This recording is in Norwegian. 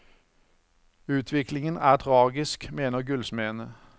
Utviklingen er tragisk, mener gullsmedene.